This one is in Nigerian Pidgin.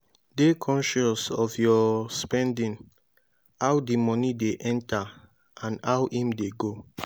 dey conscious of your spending how di money de enter and how im de go